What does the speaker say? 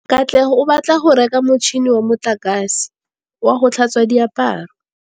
Katlego o batla go reka motšhine wa motlakase wa go tlhatswa diaparo.